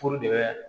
Furu de bɛ